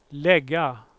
lägga